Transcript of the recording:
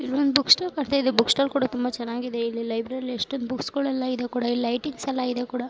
ಇಲ್ಲಿ ಒಂದು book stall ಕಾನ್ತಾಯಿದೆ. ಬುಕ್ ಸ್ಟಾಲ್ ಕೂಡಾ ತುಂಬಾ ಚೆನ್ನಗಿದೆ. ಇಲ್ಲಿ ಲೈಬ್ರರಿ ಅಲ್ಲಿ ಎಷ್ಟೊಂದು ಬುಕ್ಸ್ ಗಳೆಲ್ಲ ಇದೆ ಕೂಡ. ಲೈಟಿಂಗ್ಸ್ ಎಲ್ಲ ಇದೆ ಕೂಡಾ.